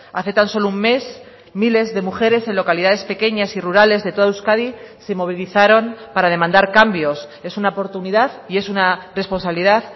hace tan solo un mes miles de mujeres en localidades pequeñas y rurales de toda euskadi se movilizaron para demandar cambios es una oportunidad y es una responsabilidad